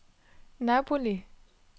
Napoli